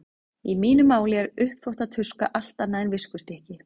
Í mínu máli er uppþvottatuska allt annað en viskustykki.